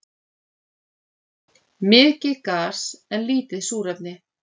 Mikið gas en lítið súrefni